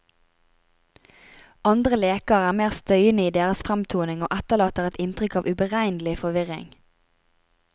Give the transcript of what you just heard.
Andre leker er mer støyende i deres fremtoning og etterlater et inntrykk av uberegnelig forvirring.